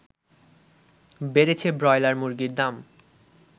বেড়েছে ব্রয়লার মুরগীর দাম